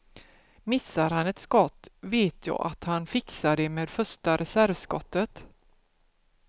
Missar han ett skott vet jag att han fixar det med första reservskottet.